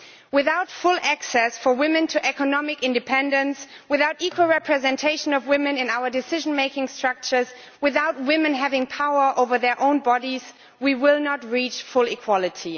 Without full access for women to economic independence, without equal representation of women in our decision making structures, without women having power over their own bodies, we will not reach full equality.